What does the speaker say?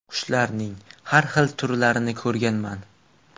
Qushlarning har xil turlarini ko‘rganman.